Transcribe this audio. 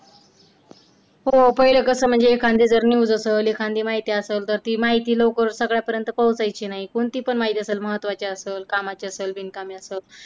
हो पहिल कसं म्हणजे एखांदि जर news असेल एखांदि माहिती असेल तर ती माहिती लवकर सगळ्यांपर्यंत पोहोचायची नाही. कोणती पण माहिती असेल, महत्त्वाची असेल, कामाची असेल, बिनकामाची असेल.